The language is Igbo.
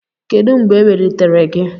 Kedu mgbe ewelitere gị?